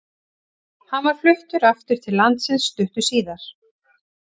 Hann var fluttur aftur til landsins stuttu síðar.